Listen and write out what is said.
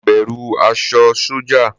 Mo bẹ̀rù aṣọ sọ́jà.